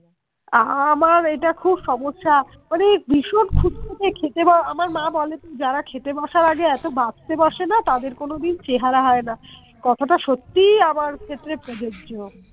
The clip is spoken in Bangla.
আমার এইটা খুব সমস্যা মানে ওই ভীষণ খুঁতখুঁতে খেতে বা আমার মা বলে তো যারা খেতে বসার আগে এতো বাছতে বসে না তাদের কোনোদিন চেহারা হয় না কথাটা সত্যিই আমার ক্ষেত্রে প্রযোজ্য